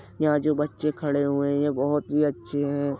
यहां जो बच्चे खड़े हुए हैं ये बहोत ही अच्छे हैं।